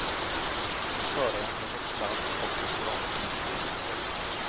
Föraren har fått sladd och åkt rakt in i stengärdet.